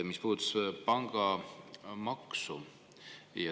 See puudutas pangamaksu.